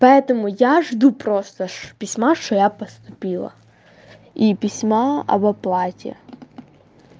поэтому я жду просто письма что я поступила и письма об оплате